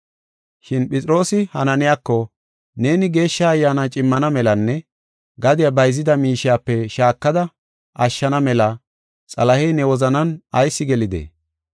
Shin Phexroosi Hananiyako, “Neeni Geeshsha Ayyaana cimmana melanne gadiya bayzida miishiyape shaakada ashshana mela Xalahey ne wozanan ayis gelidee?